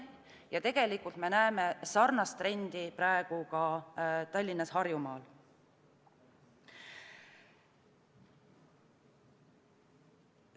Ja tegelikult näeme sarnast trendi praegu ka Tallinnas, Harjumaal.